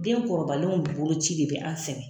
Den kɔrɔbalenw boloci de bɛ an sɛgɛn